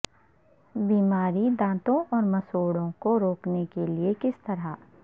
بیماری دانتوں اور مسوڑھوں کو روکنے کے لئے کس طرح